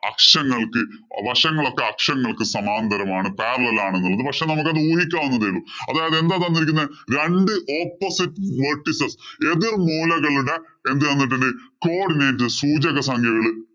അക്ഷങ്ങള്‍ക്ക് വശങ്ങളൊക്കെ അക്ഷങ്ങള്‍ക്ക് സമാന്തരമാണ് parallel ആണ് എന്നുള്ളത്. പക്ഷേ നമ്മള്‍ക്കത് ഊഹിക്കാം എന്നേ ഉള്ളൂ. അതായത് എന്താ തന്നിരിക്കുന്നെ രണ്ടു opposite എതിര്‍മൂലകളുടെ എന്ത്‌ തന്നിട്ടുണ്ട് codinates സൂചക സംഖ്യകള്